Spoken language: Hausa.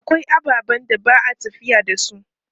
Akwai ababen da ba a tafiya da su.